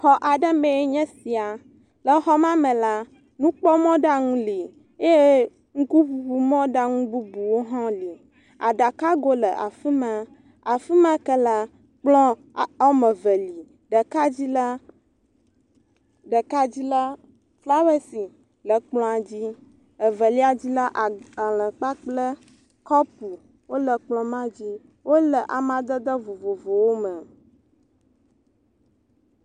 Xɔ aɖe mee nye sia. Le xɔ ma me la, nukpɔmɔɖaŋu li. Eye nukuŋuŋumɔɖaŋu bubuwo hã li. Aɖakago le afi ma. Afi ma ke la, kplɔ a wɔme eve li. Ɖeka dzi la, ɖeka dzi la, flawesi le kplɔa dzi, evelia dzi la agbale kpakple kɔpu wole kplɔ ma dzi. Wole amadede vovovowo me.